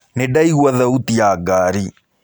Nĩndaigua thauti ya ngari.